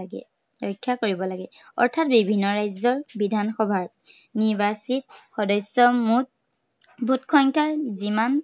লাগে, ৰক্ষা কৰিব লাগে। অৰ্থাত বিভিন্ন ৰাজ্য়ৰ বিধানসভাৰ নিৰ্বাচিত সদস্য়ৰ, মুঠ vote সংখ্যাৰ যিমান